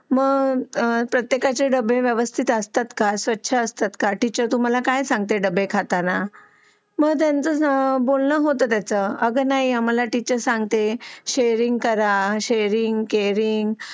मग प्रत्येकाचे डबे व्यवस्तीत असता का स्वच्छ असता का टीचर तुम्हाला काय सांगता डबे खातांना मग त्याचा बोलणं होते त्या वर आग नाही आम्हाला टीचर सांगतात शेअर करा शेअरइंग इस कॅरिंग